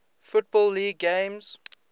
football league games